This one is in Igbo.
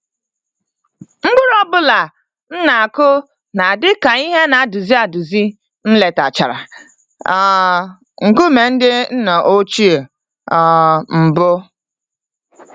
Mkpụrụ ọ bụla m na-akụ na-adị ka ìhè ana-eduzi eduzi m letachara um nkume ndị nna ochie um mbụ.